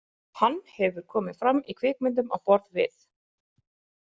Hann hefur komið fram í kvikmyndum á borð við.